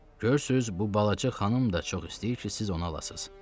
Görürsüz, bu balaca xanım da çox istəyir ki, siz onu alasız.